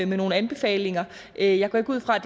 nogle anbefalinger jeg jeg går ikke ud fra at